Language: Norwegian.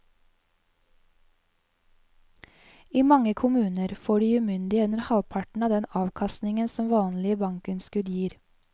I mange kommuner får de umyndige under halvparten av den avkastningen som vanlige bankinnskudd gir.